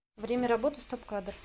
время работы стоп кадр